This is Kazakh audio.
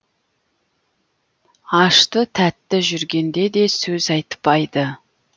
ашты тәтті жүргенде де сөз айтпайды